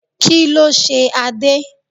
Kí ló ṣe Adé?